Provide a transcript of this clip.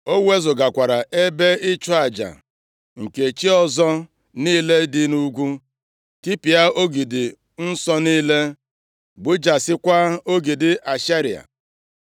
Ọ wezugakwara ebe ịchụ aja nke chi ọzọ niile dị nʼugwu, tipịa ogidi nsọ niile, gbujasịakwa ogidi Ashera.